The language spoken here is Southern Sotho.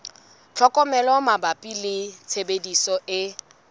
tlhokomelo mabapi le tshebediso e